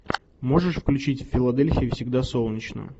можешь включить в филадельфии всегда солнечно